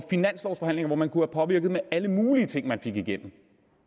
finanslovforhandlinger hvor man kunne påvirke med alle mulige ting man fik igennem